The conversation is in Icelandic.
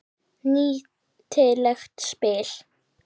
Nýtileg spil.